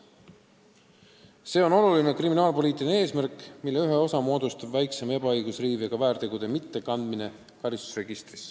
See on oluline kriminaalpoliitiline eesmärk, mis hõlmab ka väiksema ebaõigussisuga väärtegude karistusregistrisse mitte kandmist.